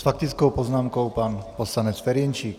S faktickou poznámkou pan poslanec Ferjenčík.